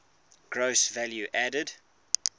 gross value added